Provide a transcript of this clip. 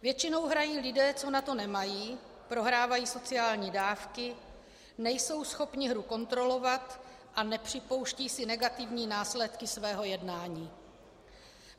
Většinou hrají lidé, co na to nemají, prohrávají sociální dávky, nejsou schopni hru kontrolovat a nepřipouštějí si negativní následky svého jednání.